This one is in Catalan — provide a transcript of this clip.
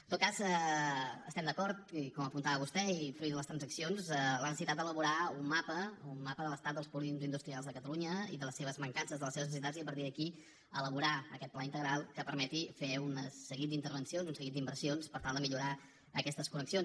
en tot cas estem d’acord com apuntava vostè i fruit de les transaccions amb la necessitat d’elaborar un mapa de l’estat dels polígons industrials de catalunya i de les seves mancances de les seves necessitats i a partir d’aquí elaborar aquest pla integral que permeti fer un seguit d’intervencions un seguit d’inversions per tal de millorar aquestes connexions